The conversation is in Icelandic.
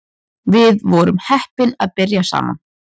Við vorum heppin að byrja saman